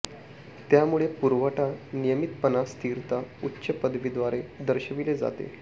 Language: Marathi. त्यामुळे पुरवठा नियमितपणा स्थिरता उच्च पदवी द्वारे दर्शविले जाते